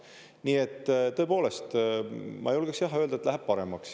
Nii et tõepoolest, ma julgeksin öelda, et läheb paremaks.